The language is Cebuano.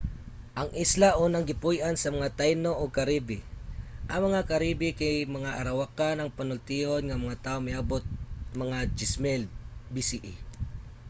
ang isla unang gipuy-an sa mga taino ug caribe. ang mga caribe kay mga arawakan ang panultihon nga mga tao nga miabot mga 10,000 bce